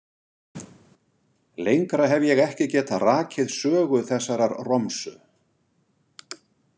Lengra hef ég ekki getað rakið sögu þessarar romsu.